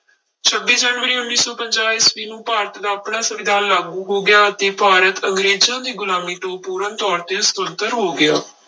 ਛੱਬੀ ਜਨਵਰੀ ਉੱਨੀ ਸੌ ਪੰਜਾਹ ਈਸਵੀ ਨੂੰ ਭਾਰਤ ਦਾ ਆਪਣਾ ਸੰਵਿਧਾਨ ਲਾਗੂ ਹੋ ਗਿਆ ਅਤੇ ਭਾਰਤ ਅੰਗਰੇਜ਼ਾਂ ਦੀ ਗੁਲਾਮੀ ਤੋਂ ਪੂਰਨ ਤੌਰ ਸੁਤੰਤਰ ਹੋ ਗਿਆ।